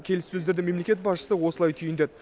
келіссөздерді мемлекет басшысы осылай түйіндеді